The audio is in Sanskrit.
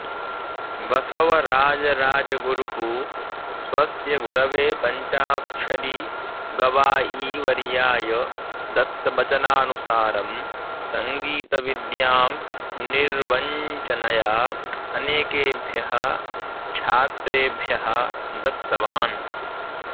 बसवराजराजगुरुः स्वस्य गुरवे पञ्चाक्षरी गवायीवर्याय दत्तवचनानुसारं सङ्गीतविद्यां निर्वञ्चनया अनेकेभ्यः छात्रेभ्यः दत्तवान्